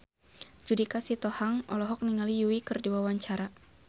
Judika Sitohang olohok ningali Yui keur diwawancara